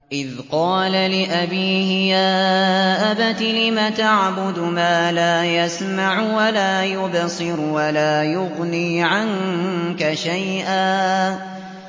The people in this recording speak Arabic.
إِذْ قَالَ لِأَبِيهِ يَا أَبَتِ لِمَ تَعْبُدُ مَا لَا يَسْمَعُ وَلَا يُبْصِرُ وَلَا يُغْنِي عَنكَ شَيْئًا